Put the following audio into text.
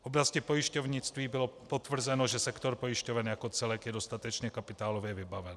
V oblasti pojišťovnictví bylo potvrzeno, že sektor pojišťoven jako celek je dostatečně kapitálově vybaven.